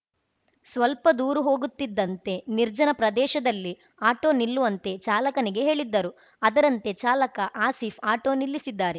ಸ್ವಲ್ಪ ದೂರು ಹೋಗುತ್ತಿದ್ದಂತೆ ನಿರ್ಜನ ಪ್ರದೇಶದಲ್ಲಿ ಆಟೋ ನಿಲ್ಲುವಂತೆ ಚಾಲಕನಿಗೆ ಹೇಳಿದ್ದರು ಅದರಂತೆ ಚಾಲಕ ಆಸೀಫ್‌ ಆಟೋ ನಿಲ್ಲಿಸಿದ್ದಾರೆ